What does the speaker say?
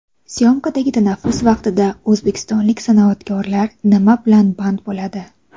Syomkadagi tanaffus vaqtida o‘zbekistonlik san’atkorlar nima bilan band bo‘ladi?